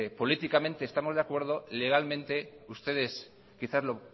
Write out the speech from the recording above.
políticamente estamos de acuerdo y legalmente ustedes quizás lo